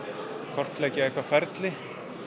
kortleggja eitthvað ferli